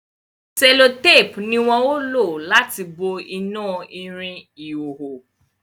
sellotape ní wón o lati bo ina ìrìn ìhoho